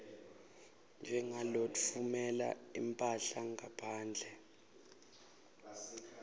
njengalotfumela imphahla ngaphandle